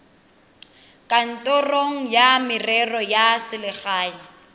kantorong ya merero ya selegae